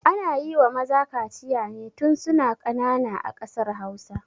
Ana yiwa maza kaciya ne tun suna ƙanana a ƙasar hausa